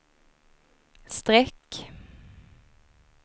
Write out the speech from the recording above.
streck